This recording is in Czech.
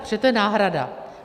protože to je náhrada.